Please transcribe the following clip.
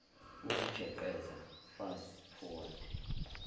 ukujeqeza fast forward